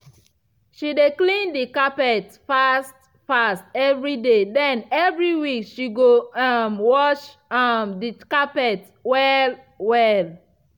she dey clean the carpet fast -fast evriday den evri week she go um wash um the carpet well-well.